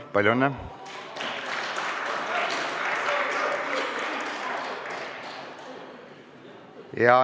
Palju õnne!